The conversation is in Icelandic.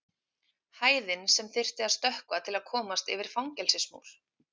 Hæðin sem þyrfti að stökkva til að komast yfir fangelsismúr.